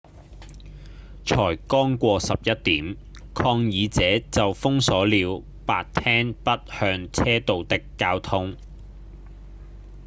才剛過11點抗議者就封鎖了白廳北向車道的交通